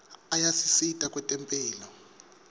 ayasisita kwetemphilo